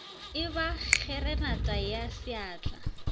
e ba kgeranata ya seatla